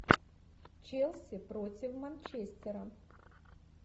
челси против манчестера